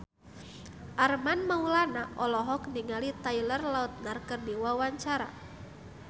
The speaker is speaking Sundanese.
Armand Maulana olohok ningali Taylor Lautner keur diwawancara